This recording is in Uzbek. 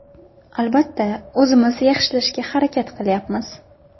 Albatta, o‘zimiz yaxshilashga harakat qilyapmiz.